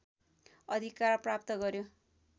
अधिकार प्राप्त गर्‍यो